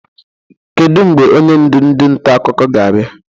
Kedu mgbe onye ndụ ndị nta akụkọ ga-abịa?